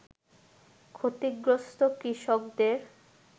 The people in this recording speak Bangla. ক্ষতিগ্রস্ত কৃষকদের